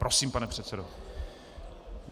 Prosím, pane předsedo.